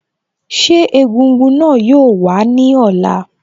Ṣé egúngún náà yoo wá ní ọ̀la?